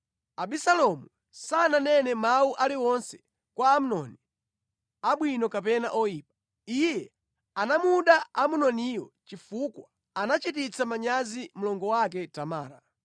Abisalomu sananene mawu aliwonse kwa Amnoni; abwino kapena oyipa. Iye anamuda Amunoniyo chifukwa anachititsa manyazi mlongo wake Tamara.